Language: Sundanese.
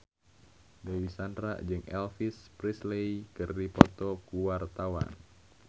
Dewi Sandra jeung Elvis Presley keur dipoto ku wartawan